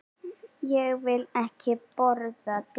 Ég vil ekki borða dýrin.